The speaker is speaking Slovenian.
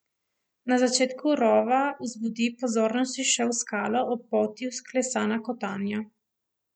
Na začetku rova vzbudi pozornosti še v skalo ob poti vklesana kotanja.